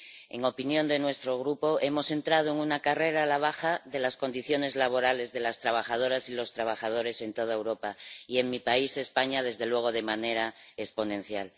En opinión de nuestro Grupo, hemos entrado en una carrera a la baja de las condiciones laborales de las trabajadoras y los trabajadores en toda Europa y en mi país, España, desde luego de manera exponencial.